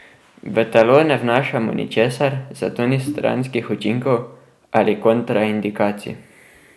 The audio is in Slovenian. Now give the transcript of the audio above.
V telo ne vnašamo ničesar, zato ni stranskih učinkov ali kontraindikacij.